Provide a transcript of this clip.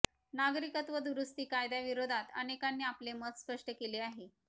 नागरिकत्व दुरूस्ती कायद्याविरोधात अनेकांनी आपले मत स्पष्ट केले आहे